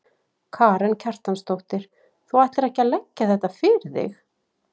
Karen Kjartansdóttir: Þú ætlar ekki að leggja þetta fyrir þig?